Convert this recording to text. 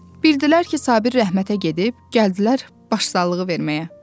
Bildilər ki, Sabir rəhmətə gedib, gəldilər başsağlığı verməyə.